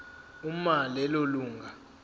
uma lelo lunga